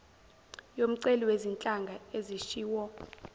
yomceli wezinhlanga ezishiwo